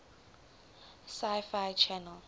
sci fi channel